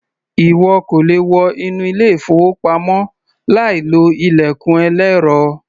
Ìwọ kò le wọ inú ilé-ìfowópamọ́ láìlo ilẹ̀kùn ẹlẹ́rọ.